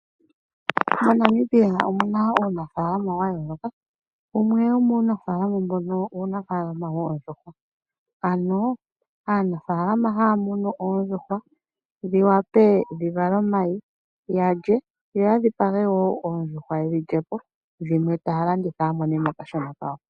MoNamibia omu na uunafaalama wa yooloka wumwe womuunafaalama mbono uunafaalama woondjuhwa. Ano aanafaalama haya munu oondjuhwa dhi wape dhi vale omayi yalye, yo ya dhipage wo oondjuhwa yedhi lye po, dho dhimwe taya landitha ya mone mo okashona kawo.